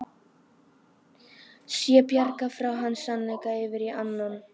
Sé bjargað frá hans sannleika yfir í annan.